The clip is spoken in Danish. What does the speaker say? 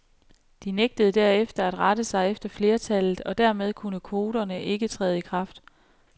De nægtede derefter at rette sig efter flertallet, og dermed kunne kvoterne ikke træde i kraft.